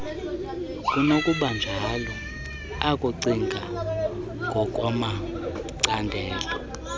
kunokubanjalo ukucinga ngokwamacandelo